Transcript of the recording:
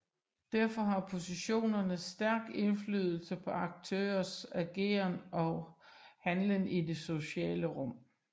Derfor har positionerne stærk indflydelse på aktørers ageren og handlen i det sociale rum